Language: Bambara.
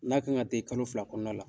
N'a kan ka den kalo fila kɔnɔna la